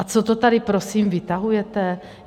A co to tady prosím vytahujete?